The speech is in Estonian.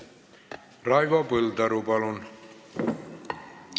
Raivo Põldaru, palun!